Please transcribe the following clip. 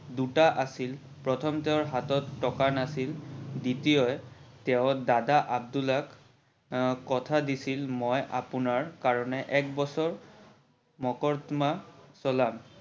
দুটা আছিল প্ৰথম তেওৰ হাতত টকা নাড়ছিল, দ্বিতীয় তেও দাদা আব্দুলাক কথা দিছিল মই আপোনাৰ কাৰনে এক বছৰ মকৰ্দমা চলাম।